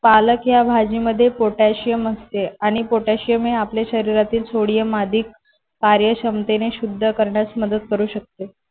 पालक या भाजीमध्ये पोटॅशियम असते आणि पोटॅशियम हे आपल्या शरीरातील सोडियम आधी कार्यक्षमतेने शुद्ध करण्यास मदत करू शकते.